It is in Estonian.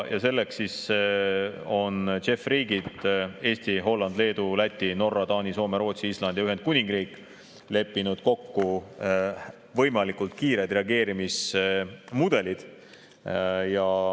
Selleks on JEF‑i riigid Eesti, Holland, Leedu, Läti, Norra, Taani, Soome, Rootsi, Island ja Ühendkuningriik leppinud kokku võimalikult kiired reageerimismudelid.